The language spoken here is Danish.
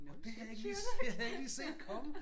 Nåh det havde jeg ikke lige det havde jeg ikke lige set komme